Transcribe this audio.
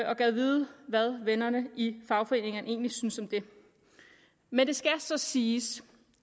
og gad vide hvad vennerne i fagforeningerne egentlig synes om det men det skal så siges